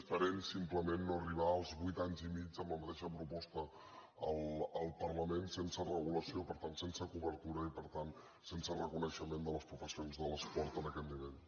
esperem simplement no arribar als vuit anys i mig amb la mateixa proposta al parlament sense regu·lació per tant sense cobertura i per tant sense reconei·xement de les professions de l’esport en aquest nivell